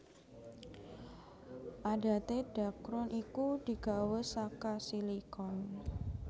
Adaté dhakron iku digawé saka silikon